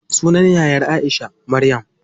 Sunan yayar Aisha, Maryam.